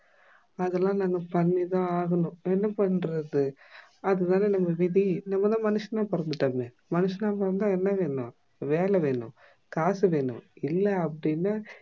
அதுலாம் நம்ப பண்ணிதான் ஆகணும் என்ன பண்ணுறது அதுதான் நம்ப விதி நம்பாத மனுஷனா பொறந்துட்டோமே மனுஷனா பொறந்தா என்ன வேணும் வேல வேணும் காசு வேணும் இல்ல அப்டின்னா